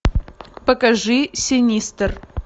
покажи синистер